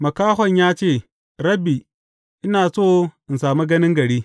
Makahon ya ce, Rabbi, ina so in sami ganin gari.